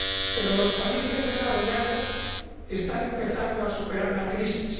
Pero los países desarrollados están empezando a superar la crisis.